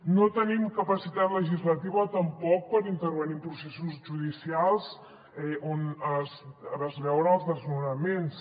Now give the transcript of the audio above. no tenim capacitat legislativa tampoc per intervenir en processos judicials on es veuen els desnonaments